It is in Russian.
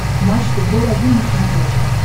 матч футбол один на смотрешке